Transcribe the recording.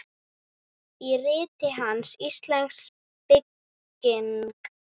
Í riti hans, Íslensk bygging